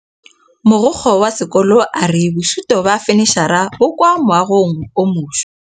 Mogokgo wa sekolo a re bosutô ba fanitšhara bo kwa moagong o mošwa.